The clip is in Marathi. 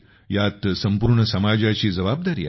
ह्यात संपूर्ण समाजाची जबाबदारी आहे